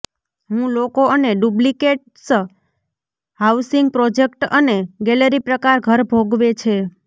હું લોકો અને ડુપ્લેક્સ હાઉસિંગ પ્રોજેક્ટ અને ગેલેરી પ્રકાર ઘર ભોગવે છે